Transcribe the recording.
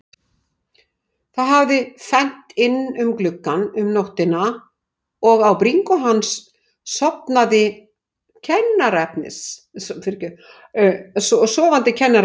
Það hafði fennt inn um gluggann um nóttina og á bringu hins sofandi kennaraefnis.